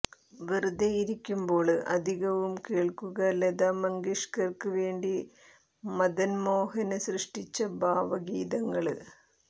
വെറുതെയിരിക്കുമ്പോള് അധികവും കേള്ക്കുക ലതാ മങ്കേഷ്കര്ക്ക് വേണ്ടി മദന്മോഹന് സൃഷ്ടിച്ച ഭാവഗീതങ്ങള്